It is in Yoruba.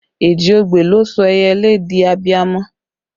Èjì ogbè ló sọ ẹyẹlé di abiamọ